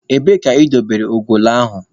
Ebee ka ị dobere ugolo ahụ?